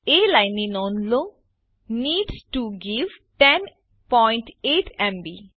એ લાઈનની નોંધ લો નીડ ટીઓ ગેટ 108 એમબી